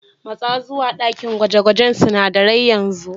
Matsa zuwa dakin gwaje-gwajen sunadarai yanzu.